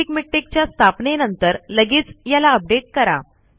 basic मिक्टेक च्या स्थापनेनंतर लगेच याला अपडेट करा